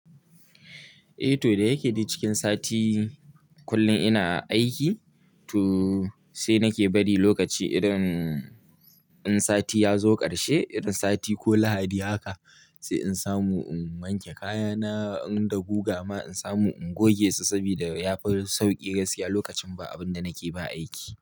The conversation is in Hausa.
Eh to da yake dai cikin sati kullun ina aiki sai nake bari irin sati yazo karshe irin sati ko lahadi haka sai in samu in wanke kaya na in da guga ma in samu in goge su sabida yafi.